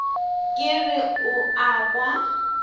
ke re o a kwa